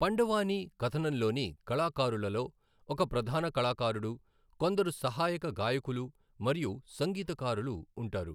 పండవానీ కథనంలోని కళాకారులలో ఒక ప్రధాన కళాకారుడు, కొందరు సహాయక గాయకులు మరియు సంగీతకారులు ఉంటారు.